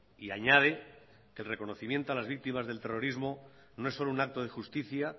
y añade que el reconocimiento a las víctimas del terrorismo no es solo un acto de justicia